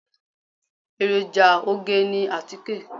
Èròjà oge ni àtíkè.